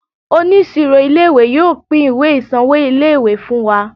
Oníṣirò ilé ìwé yóò pín ìwé ìsanwó ilé ìwé fún wa.